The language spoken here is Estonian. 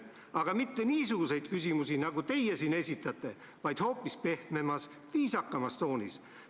Aga ta ei esitanud mitte niisuguseid küsimusi, nagu teie siin ütlete, vaid ta tegi seda kõike hoopis pehmemas, viisakamas toonis.